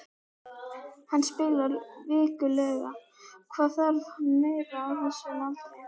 Hann spilar vikulega, hvað þarf hann meira á þessum aldri?